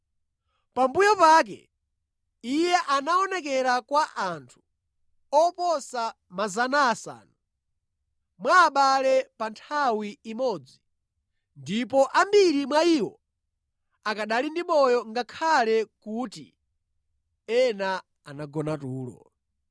Pambuyo pake, Iye anaonekera kwa anthu oposa 500 mwa abale pa nthawi imodzi, ndipo ambiri mwa iwo akanali ndi moyo ngakhale kuti ena anagona tulo.